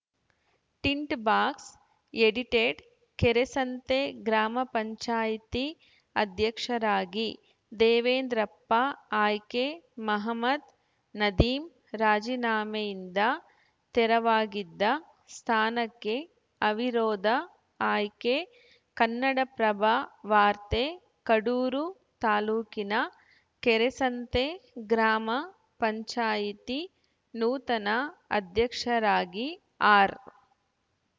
tint box edited Kerasanthe ಗ್ರಾಮ ಪಂಚಾಯೆತಿ ಅಧ್ಯಕ್ಷರಾಗಿ ದೇವೇಂದ್ರಪ್ಪ ಆಯ್ಕೆ ಮಹಮದ್‌ ನದೀಮ್‌ ರಾಜಿನಾಮೆಯಿಂದ ತೆರವಾಗಿದ್ದ ಸ್ಥಾನಕ್ಕೆ ಅವಿರೋಧ ಆಯ್ಕೆ ಕನ್ನಡಪ್ರಭ ವಾರ್ತೆ ಕಡೂರು ತಾಲೂಕಿನ ಕೆರೆಸಂತೆ ಗ್ರಾಮ ಪಂಚಾಯಿತಿ ನೂತನ ಅಧ್ಯಕ್ಷರಾಗಿ ಆರ್‌